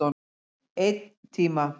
Einn tíma.